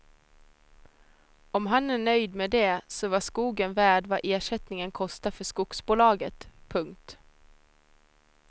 Om han är nöjd med det så var skogen värd vad ersättningen kostar för skogsbolaget. punkt